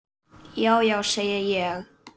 Já, já, segi ég.